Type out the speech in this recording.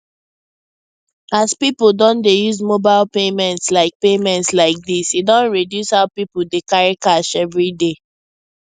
as people don dey use mobile payments like payments like this e don reduce how people dey carry cash everyday